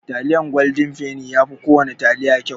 Taliyan goldin feni yafi kowana taliya kyau.